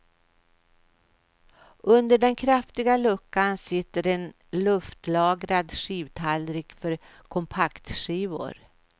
Under den kraftiga luckan sitter en luftlagrad skivtallrik för kompaktskivor.